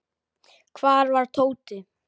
Hvar var Tóti?